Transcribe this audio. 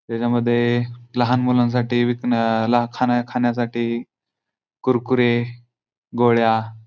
ह्याच्यामध्ये लहान मुलांसाठी विकण ला खान खाण्यासाठी कुरकुरे गोळ्या --